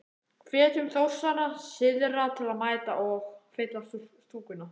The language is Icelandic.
Hvetjum Þórsara syðra til að mæta og. fylla stúkuna?